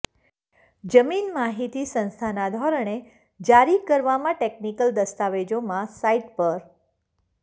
જમીન માહિતી સંસ્થાના ધોરણે જારી કરવામાં ટેકનિકલ દસ્તાવેજોમાં સાઇટ પર